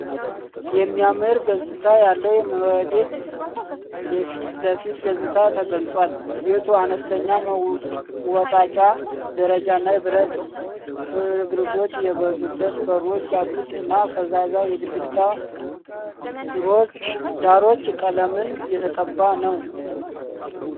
የሚያምር ገጽታ ያለው የመኖሪያ ቤት የፊት ለፊት ገጽታ ተገልጿል። ቤቱ አነስተኛ መወጣጫ ደረጃ እና የብረት ፍርግርጎች የበዙበት በሮች ያሉት እና ፈዛዛ የግድግዳ ሮች ቀለምን የተቀባ ነው።